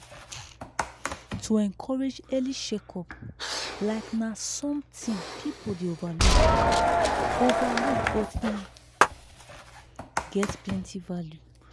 to encourage early check-up like na something people dey overlook overlook but e get plenty value.